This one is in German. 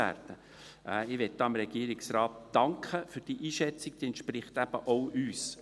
Ich möchte dem Regierungsrat für diese Einschätzung danken, sie entspricht eben auch uns.